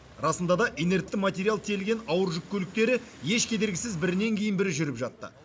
расында да инертті материал тиелген ауыр жүк көліктері еш кедергісіз бірінен кейін бірі жүріп жатты